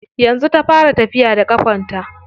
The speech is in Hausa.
Yanzu ta fara tafiya da ƙafarta.